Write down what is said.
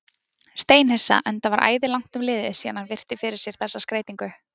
Steinhissa, enda var æði langt um liðið síðan hann virti fyrir sér þessa skreytingu.